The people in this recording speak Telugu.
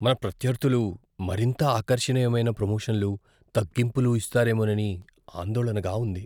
మన ప్రత్యర్ధులు మరింత ఆకర్షణీయమైన ప్రమోషన్లు, తగ్గింపులు ఇస్తారేమోనని ఆందోళనగా ఉంది.